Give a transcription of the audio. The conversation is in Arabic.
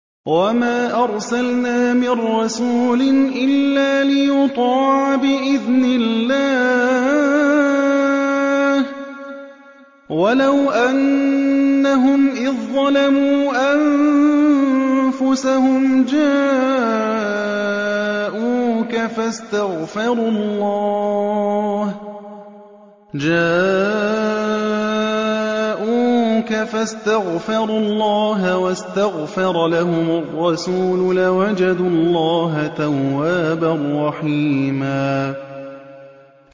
وَمَا أَرْسَلْنَا مِن رَّسُولٍ إِلَّا لِيُطَاعَ بِإِذْنِ اللَّهِ ۚ وَلَوْ أَنَّهُمْ إِذ ظَّلَمُوا أَنفُسَهُمْ جَاءُوكَ فَاسْتَغْفَرُوا اللَّهَ وَاسْتَغْفَرَ لَهُمُ الرَّسُولُ لَوَجَدُوا اللَّهَ تَوَّابًا رَّحِيمًا